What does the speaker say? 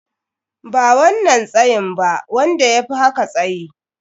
Ba wannan tsayin ba, wanda yafi haka tsayyi.